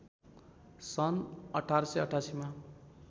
सन् १८८८ मा